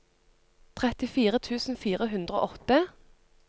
trettifire tusen fire hundre og åtte